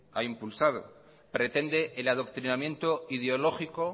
ha impulsado pretende el adoctrinamiento ideológico